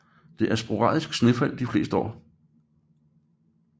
Der er sporadiske snefald de fleste år